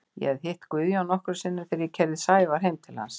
Ég hafði hitt Guðjón nokkrum sinnum þegar ég keyrði Sævar heim til hans.